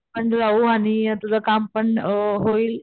आपण राहू आणि तुझं काम पण अ होईल.